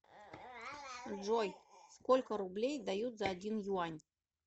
джой сколько рублей дают за один юань